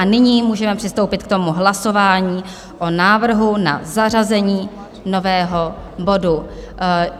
A nyní můžeme přistoupit k tomu hlasování o návrhu na zařazení nového bodu.